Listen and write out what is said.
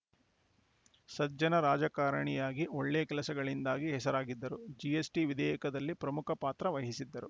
ಸಜ್ಜನ ರಾಜಕಾರಣಿಯಾಗಿ ಒಳ್ಳೆ ಕೆಲಸಗಳಿಂದಾಗಿ ಹೆಸರಾಗಿದ್ದರು ಜಿಎಸ್‌ಟಿ ವಿಧೇಯಕದಲ್ಲಿ ಪ್ರಮುಖ ಪಾತ್ರ ವಹಿಸಿದ್ದರು